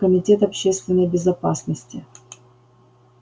комитет общественной безопасности